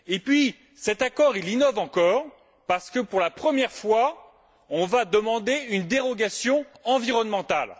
Enfin, cet accord innove encore parce que, pour la première fois, on va demander une dérogation environnementale.